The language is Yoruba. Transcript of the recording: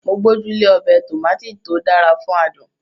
Mo gbójú lé ọbẹ̀ Tòmátì tó dára fún adùn